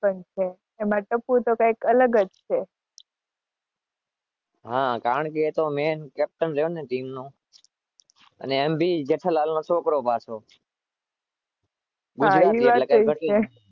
એમાં ટાપુ તો કઈક અલગ જ છે.